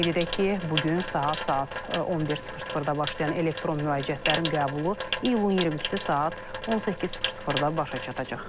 Qeyd edək ki, bu gün saat 11:00-da başlayan elektron müraciətlərin qəbulu iyulun 22-si saat 18:00-da başa çatacaq.